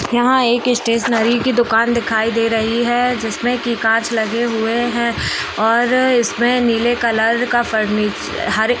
यहाँ एक स्टेशनरी की दुकान दिखाई दे रही है जिसमें कि काँच लगे हुए हैं और इसमें नीले कलर का फर्निच हरे --